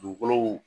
Dugukolow